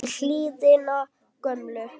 upp í hlíðina gömlu